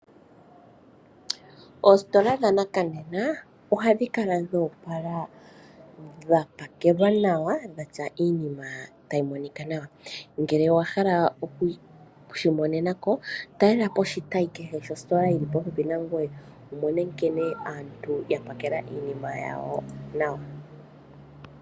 Oostola dha nakanena oha dhi kala dho opala dha pakelwa nawa dhatya iinima tayi monika nawa. Ngele owa hala okushi imonenako talelapo oshitayi kehe shostola yili popepi nangoye wumone nkene aantu yapakela iinima yawo nawa.